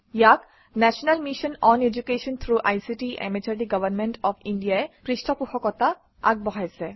ইয়াক national mission on education through ICT MHRD government of India ই পৃষ্ঠপোষকতা আগবঢ়াইছে